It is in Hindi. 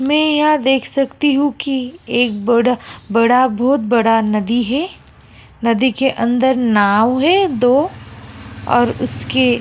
मैं यहाँ देख सकती हूँ कि एक बड़ा बड़ा बहुत बड़ा नदी है नदी के अंदर नाव है दो और उसके --